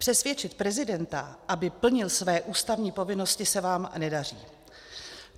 Přesvědčit prezidenta, aby plnil své ústavní povinnosti, se vám nedaří.